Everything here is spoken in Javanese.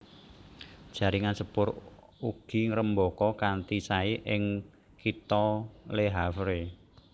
Jaringan sepur ugi ngrembaka kanthi saé ing kitha Le Havre